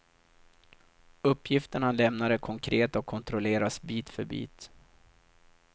Uppgifterna han lämnar är konkreta och kontrolleras bit för bit.